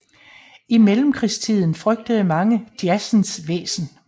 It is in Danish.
I Mellemkrigstiden frygtede mange jazzens væsen